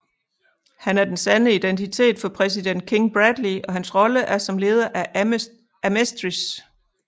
Han er den sande identitet for Præsident King Bradley og hans rolle er som leder af Amestris